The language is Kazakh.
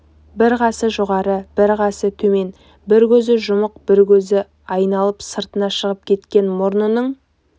бір қасы жоғары бір қасы төмен бір көзі жұмық бір көзі айналып сыртына шығып кеткен мұрнының